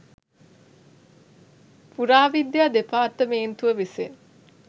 පුරාවිද්‍යා දෙපාර්තමේන්තුව විසින්